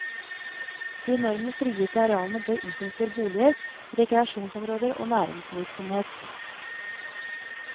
De enorme frigitte arealene bør utnyttes til boliger, rekreasjonsområder og næringsvirksomhet.